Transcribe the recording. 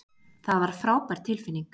Það var frábær tilfinning.